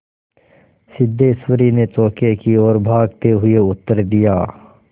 सिद्धेश्वरी ने चौके की ओर भागते हुए उत्तर दिया